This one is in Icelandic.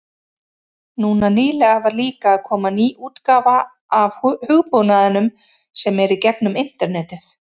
Núna nýlega var líka að koma ný útgáfa af hugbúnaðinum sem er í gegnum internetið.